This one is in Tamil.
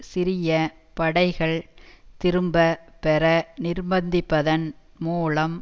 சிரியப் படைகள் திரும்ப பெற நிர்பந்தித்ததன் மூலம்